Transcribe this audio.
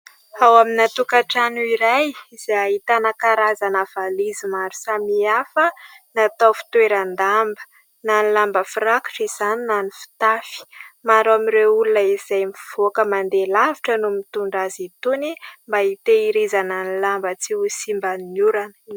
Ao amina tokantrano iray izay ahitana karazana valizy maro samihafa natao fitoeran-damba na ny lamba firakotra izany na ny fitafy. Maro ao amin'ireo olona izay mivoaka mandeha lavitra no mitondra azy itony mba hitehirizana ny lamba tsy ho simba ny orana.